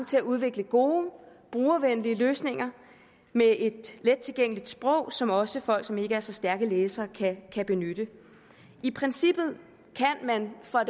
til at udvikle gode brugervenlige løsninger med et let tilgængeligt sprog som også folk som ikke er så stærke læsere kan benytte i princippet kan man fra